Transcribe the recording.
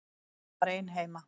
Hún var ein heima.